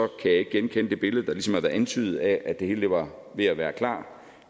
kan jeg ikke genkende det billede der ligesom har været antydet af at det hele var ved at være klar